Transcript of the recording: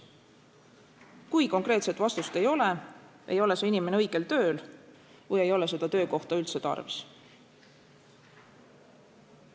Kui konkreetset vastust ei ole, ei ole see inimene õigel tööl või ei ole seda töökohta üldse tarvis.